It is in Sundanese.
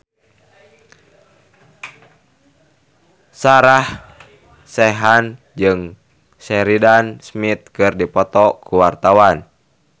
Sarah Sechan jeung Sheridan Smith keur dipoto ku wartawan